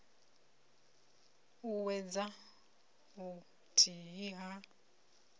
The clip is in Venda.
t ut uwedza vhuthihi ha